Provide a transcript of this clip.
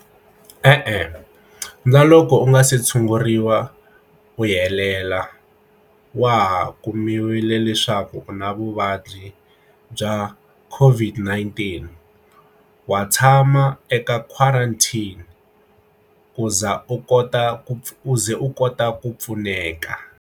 E-e na loko u nga se tshunguriwa u helela wa ha kumiwile leswaku u na vuvabyi bya a COVID-19 wa tshama eka quarantine ku za u kota ku u ze u kota ku pfuneka.